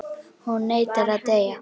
Hún neitar að deyja.